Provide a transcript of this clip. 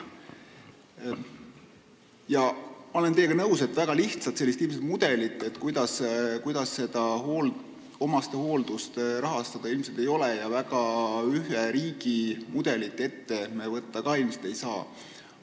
Ma olen teiega nõus, et väga lihtsat mudelit, kuidas omastehooldust rahastada, ilmselt ei ole ja ühe riigi mudelit me täpselt ette võtta ka ei saa.